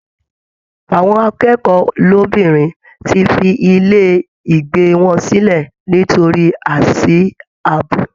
Àwọn akẹ́kọ̀ọ́ lóbìnrin ti fi ilé ìgbé wọn sílẹ̀ nítorí àìsí ààbò